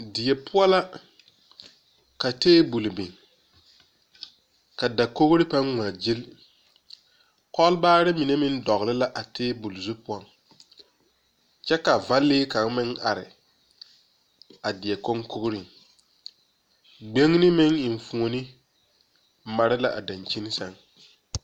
Die poͻ la, ka teebol biŋ, ka dakogiri pãã ŋmaa gyili. Kͻlebaare mine meŋ dͻgele la a teebole zu poͻŋ. Kyԑ ka va-lee kaŋa meŋ are a die koŋkogiriŋ. Gbiŋini meŋ enfuoni mare la a daŋkyini sԑŋ.